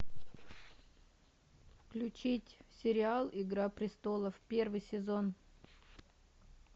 включить сериал игра престолов первый сезон